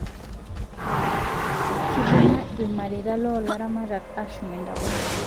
Kibunga ilmareta loo laramatak ashum ntapuka